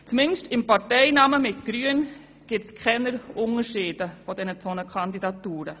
Zumindest bezüglich des Parteinamens – nämlich grün – gibt es keine Unterschiede zwischen den beiden Kandidaturen.